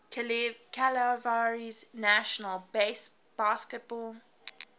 cavaliers national basketball